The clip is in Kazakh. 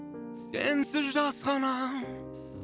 сенсіз жасқанам